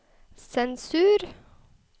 sensur